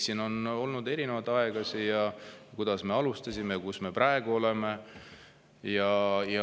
Siin on olnud erinevaid aegasid, kuidas me alustasime ja kus me praegu oleme.